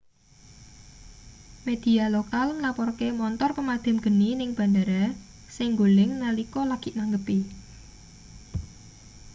media lokal nglaporke montor pemadham geni ning bandhara sing nggoling nalika lagi nanggepi